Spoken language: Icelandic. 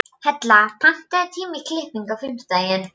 Hella, pantaðu tíma í klippingu á fimmtudaginn.